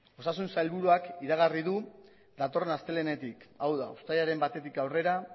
osasun sailburuak iragarri du datorren astelehenetik hau da uztailaren batetik aurrera